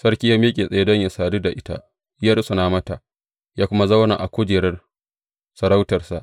Sarki ya miƙe tsaye don yă sadu da ita, ya rusuna mata, ya kuma zauna a kujerar sarautarsa.